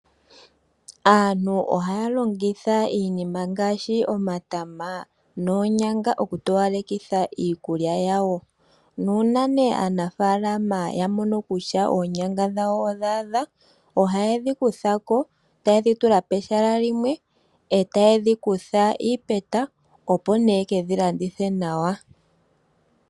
Aantu ohaya longitha iinima ngaashi omatama noonyanga, okutowalekitha iikulya yawo. Nuuna ne aanafalama yamono kutya oonyanga dhawo odha adha, ohaye dhikuthako, taye dhitula pehala limwe, e taye dhi kutha iipeta, opo nee yekedhi landithe nawa.